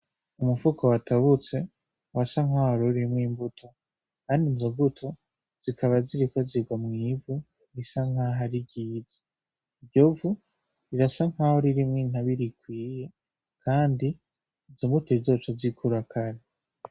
Umufuko watabutse wasa nkaho wari urimwo imbuto , kandi izombuto zikaba ziriko zirwa mwivu risa nkaho ari ryiza iryovu rirasa nkaho ririmwo intabire ikwiye kandi izombuto zizoce zikura kare.